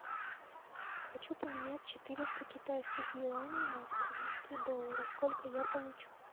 хочу поменять четыреста китайских юаней на австралийские доллары сколько я получу